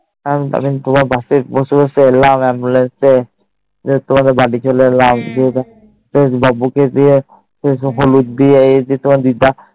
আর আমি তোমার Bus এ বসেই বসেই Ambulance এ তোমাদের বাড়ি ছোলেমা সাহস বাবু কে নিয়ে সেই এই দিয়ে